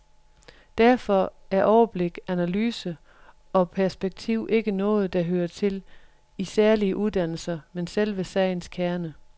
Derfor er overblik, analyse og perspektiv ikke noget, der hører til i særlige uddannelser, men selve sagens kerne.